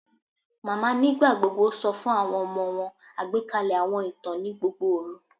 Mama nigbagbogbo sọ fun awọn ọmọ wọn agbekalẹ awọn itan ni gbogbo oru